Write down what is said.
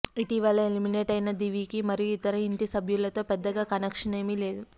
ఇటీవల ఎలిమినేట్ అయిన దివికి మరియు ఇతర ఇంటి సభ్యులతో పెద్దగా కనెక్షన్ ఏమీ లేదు